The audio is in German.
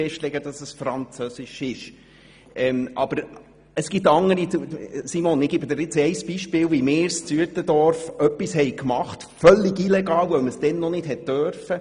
Grossrätin Machado, ich gebe Ihnen ein Beispiel, wie wir in Uetendorf völlig illegal etwas gemacht hatten, das man damals noch nicht durfte.